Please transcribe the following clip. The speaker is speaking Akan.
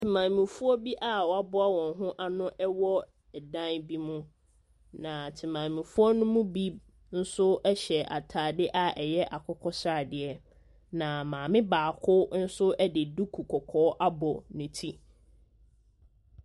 Maamefoɔ bi a wɔaboa wɔn ho ano wɔ dan bi bi mu. Na temamufoɔ no mu bi nso hyɛ atadeɛ a ɛyɛ akokɔsradeɛ. Na maame baako nso de duku kɔkɔɔ abɔ ne ti.